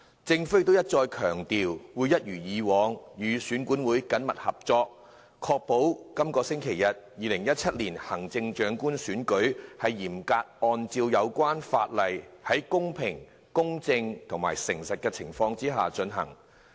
政府亦一再強調，會一如既往與選管會緊密合作，確保在本星期日進行的2017年行政長官選舉會嚴格按照有關法例，在公平、公正、誠實的情況之下進行。